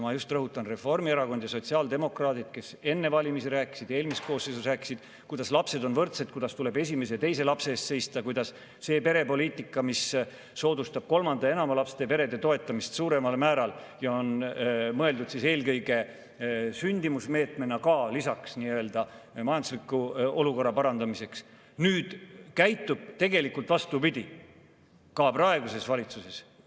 Ma rõhutan, et just Reformierakond ja sotsiaaldemokraadid, kes enne valimisi ja eelmises koosseisus rääkisid, kuidas lapsed on võrdsed, kuidas tuleb esimese ja teise lapse eest seista, kuidas see perepoliitika, mis soodustab kolme ja enama lapsega perede toetamist suuremal määral ja on mõeldud eelkõige sündimuse suurendamise meetmena ka lisaks nii-öelda majandusliku olukorra parandamisele, käituvad nüüd vastupidi, ka praeguses valitsuses.